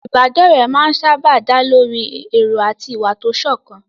Ìbádọ́rẹ̀ẹ́ máa ń sáábà dá lórí èrò àti ìwà tó sọ̀kan.